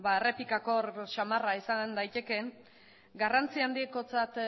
errepikak gogor samarra izan daitekeen garrantzia handikotzat